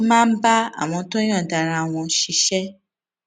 ó máa ń bá àwọn tó yòǹda ara wọn ṣiṣé